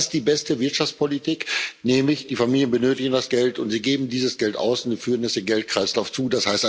Das ist die beste Wirtschaftspolitik, nämlich die Familien benötigen das Geld und sie geben dieses Geld aus und führen es dem Geldkreislauf zu.